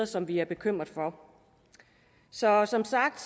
som vi er bekymret for så som sagt